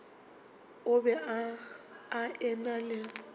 o be a ena le